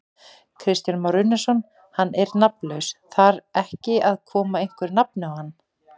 Kristján Már Unnarsson: Hann er nafnlaus, þar ekki að koma einhverju nafni á hann?